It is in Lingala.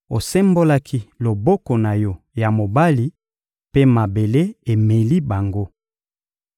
Osembolaki loboko na Yo ya mobali, mpe mabele emeli bango.